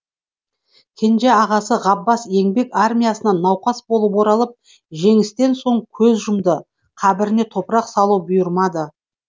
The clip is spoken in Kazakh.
кенжеағасы ғаббас еңбек армиясынан науқас болып оралып жеңістен соң көз жұмды қабіріне топырақ салу бұйырмады